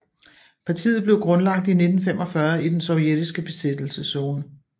Partiet blev grundlagt i 1945 i den sovjetiske besættelseszone